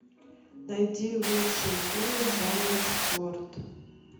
найди лучшие фильмы жанра спорт